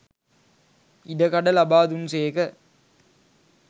ඉඩකඩ ලබා දුන්සේක.